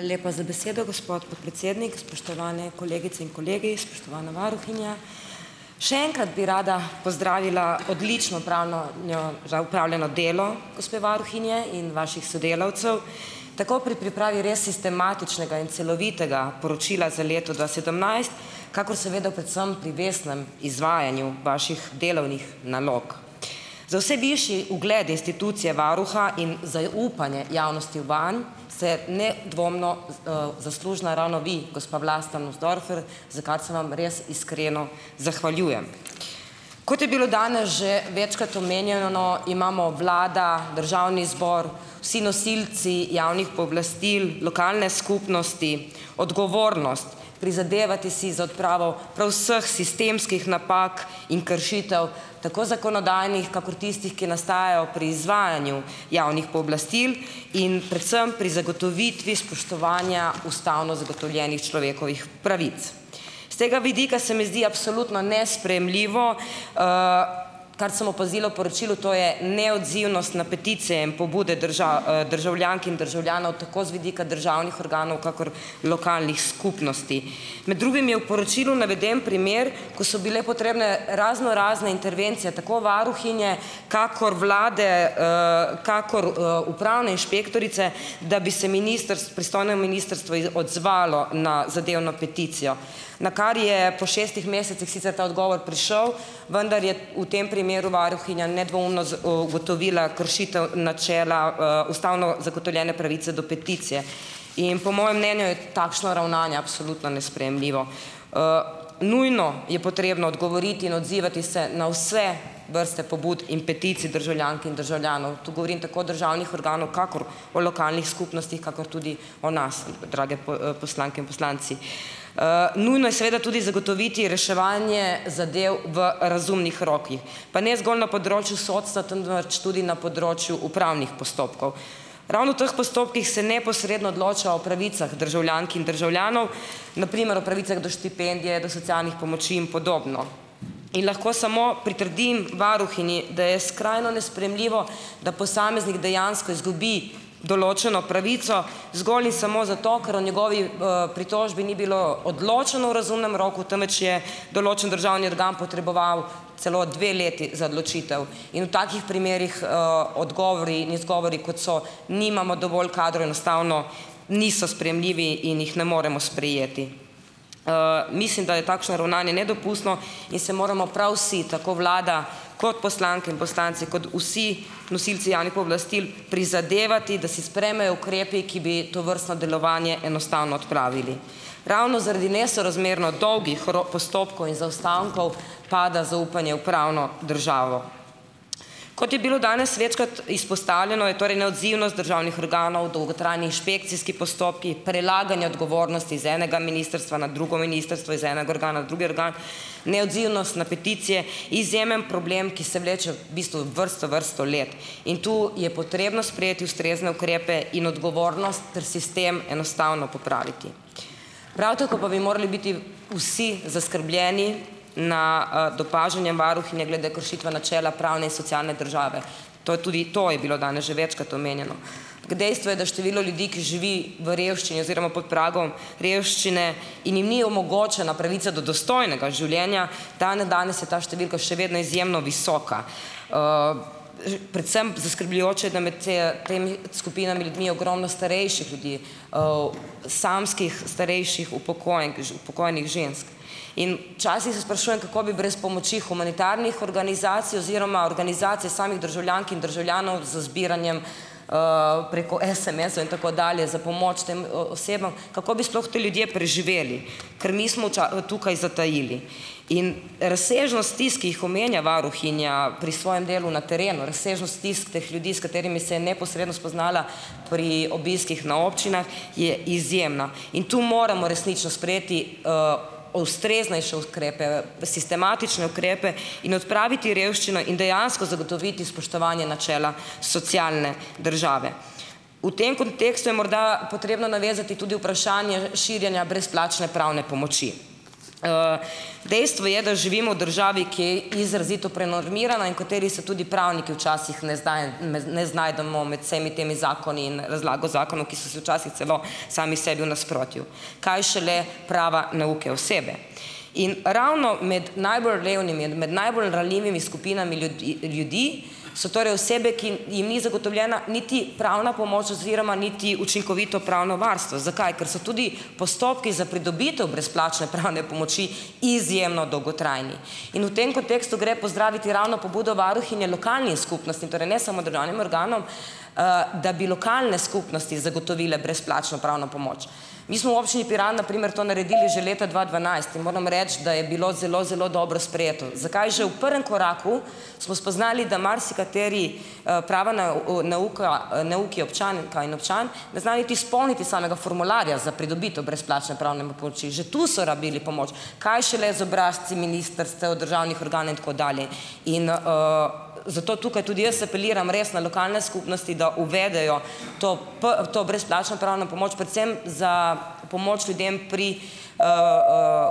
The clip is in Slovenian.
Lepa za besedo, gospod podpredsednik. Spoštovane kolegice in kolegi, spoštovana varuhinja. Še enkrat bi rada pozdravila odlično pravno njo za opravljeno delo gospe varuhinje in vaših sodelavcev, tako pri pripravi res sistematičnega in celovitega poročila za leto dva sedemnajst, kakor seveda predvsem pri vestnem izvajanju vaših delovnih nalog. Za vse višji ugled institucije varuha in zaupanje javnosti vanj se nedvomno, zaslužna ravno vi, gospa Vlasta Nussdorfer, za kar se vam res iskreno zahvaljujem. Kot je bilo dane že večkrat omenjeno, imamo vlada, državni zbor, vsi nosilci javnih pooblastil, lokalne skupnosti odgovornost prizadevati si za odpravo prav vseh sistemskih napak in kršitev. Tako zakonodajnih kakor tistih, ki nastajajo pri izvajanju javnih pooblastil in predvsem pri zagotovitvi spoštovanja ustavno zagotovljenih človekovih pravic. S tega vidika se mi zdi absolutno nesprejemljivo, kar sem opazila v poročilu, to je neodzivnost na peticije in pobude državljank in državljanov tako z vidika državnih organov kakor lokalnih skupnosti. Med drugim je v poročilu naveden primer, ko so bile potrebne raznorazne intervencije tako varuhinje kakor vlade, kakor, upravne inšpektorice, da bi se pristojno ministrstvo odzvalo na zadevno peticijo, na kar je po šestih mesecih sicer ta odgovor prišel, vendar je v tem primeru varuhinja nedvoumno ugotovila kršitev načela, ustavno zagotovljene pravice do peticije. In po mojem mnenju je takšno ravnanje absolutno nesprejemljivo. Nujno je potrebno odgovoriti in odzivati se na vse vrste pobud in peticij državljank in državljanov. Tu govorim tako državnih organov kakor o lokalnih skupnostih kakor tudi o nas, drage poslanke in poslanci. Nujno je seveda tudi zagotoviti reševanje zadev v razumnih rokih. Pa ne zgolj na področju sodstva, temveč tudi na področju upravnih postopkov. Ravno v teh postopkih se neposredno odloča o pravicah državljank in državljanov, na primer o pravicah do štipendije, do socialnih pomoči in podobno, in lahko samo pritrdim varuhinji, da je skrajno nesprejemljivo, da posameznik dejansko izgubi določeno pravico zgolj in samo zato, ker o njegovi, pritožbi ni bilo odločeno v razumnem roku, temveč je določen državni organ potreboval celo dve leti za odločitev in v takih primerih, odgovor in izgovori, kot so nimamo dovolj kadra, enostavno niso sprejemljivi in jih ne moremo sprejeti. Mislim, da je takšno ravnanje nedopustno in se moramo prav vsi, tako vlada kot poslanke in poslanci kot vsi nosilci javnih pooblastil prizadevati, da se sprejmejo ukrepi, ki bi tovrstno delovanje enostavno odpravili. Ravno zaradi nesorazmerno dolgih postopkov in zaostankov pada zaupanje v pravno državo. Kot je bilo danes večkrat izpostavljeno, je torej neodzivnost državnih organov, dolgotrajni inšpekcijski postopki, prelaganje odgovornosti z enega ministrstva na drugo ministrstvo, iz enega organa na drugi organ, neodzivnost na peticije izjemen problem, ki se vleče v bistvu vrsto vrsto let in tu je potrebno sprejeti ustrezne ukrepe in odgovornost ter sistem enostavno popraviti. Prav tako pa bi morali biti vsi zaskrbljeni nad opažanjem varuhinje glede kršitve načela pravne in socialne države. To je tudi to je bilo danes že večkrat omenjeno. Pk dejstvo je, da število ljudi, ki živi v revščini oziroma pod pragom revščine in jim ni omogočena pravica do dostojnega življenja, dandanes je ta številka še vedno izjemno visoka. Predvsem zaskrbljujoče da med, temi skupinami ljudmi je ogromno starejših ljudi, samskih starejših upokojenk upokojenih žensk, in včasih se sprašujem, kako bi brez pomoči humanitarnih organizacij oziroma organizacij samih državljank in državljanov z zbiranjem preko SMS-ov in tako dalje za pomoč tem osebam, kako bi sploh ti ljudje preživeli, ker mi smo tukaj zatajili. In razsežnost stisk, ki jih omenja varuhinja pri svojem delu na terenu, razsežnost stisk teh ljudi s katerimi se je neposredno spoznala pri obiskih na občinah, je izjemna in to moramo resnično sprejeti ustreznejše uskrepe, sistematične ukrepe in odpraviti revščino in dejansko zagotoviti spoštovanje načela socialne države. V tem kontekstu je morda potrebno navezati tudi vprašanje širjenja brezplačne pravne pomoči. Dejstvo je, da živimo v državi, ki izrazito prenormirana in v kateri se tudi pravniki včasih ne ne znajdemo med vsemi temi zakoni in razlago zakonov, ki so si včasih celo sami sebi v nasprotju, kaj šele prava neuke osebe. In ravno med najbolj revnimi, med najbolj ranljivimi skupinami ljudi so torej osebe, ki jim ni zagotovljena niti pravna pomoč oziroma niti učinkovito pravno varstvo. Zakaj? Ker so tudi postopki za pridobitev brezplačne pravne pomoči izjemno dolgotrajni in v tem kontekstu gre pozdraviti ravno pobudo varuhinje lokalnim skupnostim, torej ne samo državnim organom, da bi lokalne skupnosti zagotovile brezplačno pravno pomoč. Mi smo v Občini Piran na primer to naredili že leta dva dvanajst in moram reči, da je bilo zelo zelo dobro sprejeto, za kaj že v prvem koraku smo spoznali, da marsikateri, prava neuka, neuki, občanka in občan ne znajo niti izpolniti samega formularja za pridobitev brezplačne pravne, pomoči. Že tu so rabili pomoč, kaj šele z obrazci ministrstev, državnih organov, in tako dalje. in, zato tukaj tudi jaz apeliram res na lokalne skupnosti, da uvedejo to to brezplačno pravno pomoč predvsem za pomoč ljudem pri